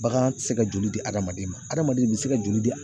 Bagan ti se ka joli di adamaden ma adamaden be se ka joli di